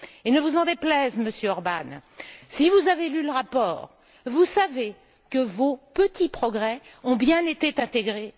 Et ne vous en déplaise, Monsieur Orbán, si vous avez lu le rapport, vous savez que vos petits progrès y ont bien été intégrés.